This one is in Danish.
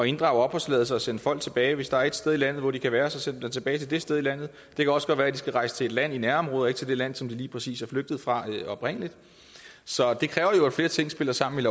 inddrage opholdstilladelsen og sende folk tilbage hvis der er et sted i landet hvor de kan være så send dem da tilbage til det sted i landet det kan også godt være de skal rejse til et land i nærområdet til det land som de lige præcis er flygtet fra oprindelig så det kræver jo at flere ting spiller sammen